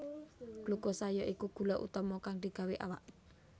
Glukosa ya iku gula utama kang digawé awak